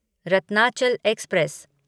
Ratnachal express